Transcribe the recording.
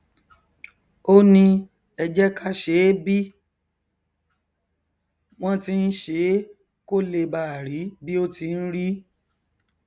ó ní ẹ jẹ ká ṣeé bí wọn ti n ṣeé kó lè báà rí bí ó tí n rí